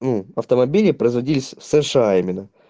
ну автомобили производились в сша именно